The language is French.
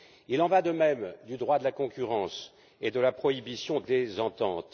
Il en va de même du droit de la concurrence et de la prohibition des ententes.